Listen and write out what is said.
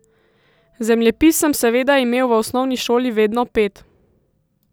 Zemljepis sem seveda imel v osnovni šoli vedno pet.